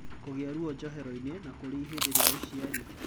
Kũgia ruo njohero-ini, na kũri ihende ria ũciari.